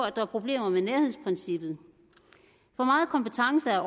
at der er problemer med nærhedsprincippet for meget kompetence er